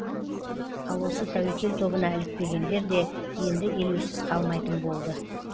ал осы тәуекел тобына ілікпегендер де енді елеусіз қалмайтын болды